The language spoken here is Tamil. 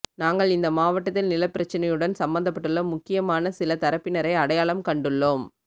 நாங்கள் இந்த மாவட்டத்தில் நிலப்பிரச்சனையுடன் சம்பந்தப்பட்டுள்ள முக்கியமான சில தரப்பினரை அடையாளம் கண்டுள்ளோம்